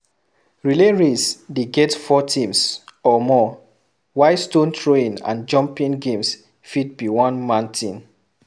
Relay race de get four teams or more while stone throwing and jumping games fit be one man thing